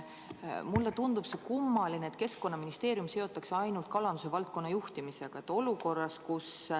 Mulle tundub kummaline, et Keskkonnaministeerium seotakse ainult kalanduse valdkonna juhtimisega.